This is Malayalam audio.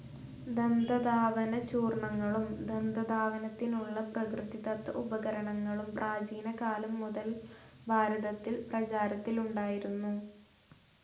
ദന്തധാവന ചൂർണങ്ങളും ദന്തധാവനത്തിനുള്ള പ്രകൃതിദത്ത ഉപകരണങ്ങളും പ്രാചീനകാലംമുതൽഭാരതത്തിൽ പ്രചാരത്തിലുണ്ടായിരുന്നു.